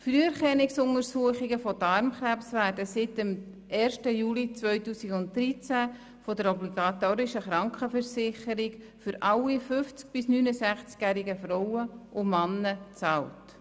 Früherkennungsuntersuchungen von Darmkrebs für alle 50- bis 69-jähigen Frauen und Männer werden seit dem 1. Juli 2013 von der obligatorischen Krankenversicherung bezahlt.